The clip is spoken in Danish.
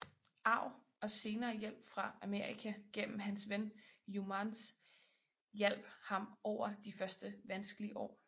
Arv og senere hjælp fra Amerika gennem hans ven Youmans hjalp ham over de første vanskelige år